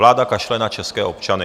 Vláda kašle na české občany.